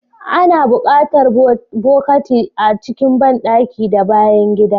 Ana buƙatar bokati a cikin banɗaki da bayan gida.